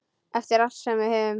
Eftir allt sem við höfum.